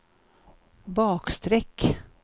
bakstreck